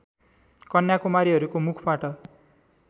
कन्या कुमारीहरूको मुखबाट